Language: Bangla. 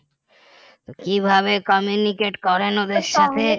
কিভাবে communicate করেন ওদের সাথে